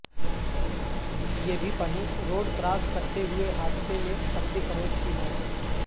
یہ بھی پڑھیں روڈ کراس کرتے ہوئے حادثے میں سبزی فروش کی موت